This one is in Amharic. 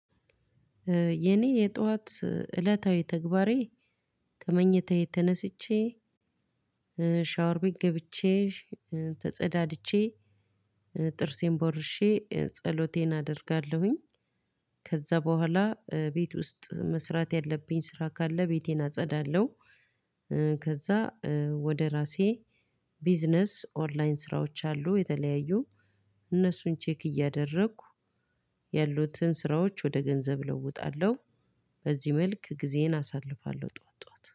የኔ የጠዋት እለታዊ ተግባሬ ከመኝታዬ ተነስቼ ሻወር ቤት ገብቼ ተፀዳድቼ ጥርሴን ቦርሼ ጸሎቴን አደርጋለሁኝ። ከዛ በኋላ ቤት ውስጥ መስራት ያለብኝ ስራ ካለ ቤቴን አጸዳለሁ። ከዛ ወደ ራሴ ቢዝነስ ኦንላይን ስራዎች አሉ የተለያዩ እነሱን ቼክ እያደረኩ ያሉትን ስራዎች ወደ ገንዘብ እለውጣለሁ። በዚህ መልክ ጊዜዬን አሳልፋለሁ ጠዋት ጠዋት